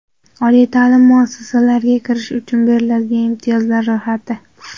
Oliy ta’lim muassasalariga kirish uchun beriladigan imtiyozlar ro‘yxati.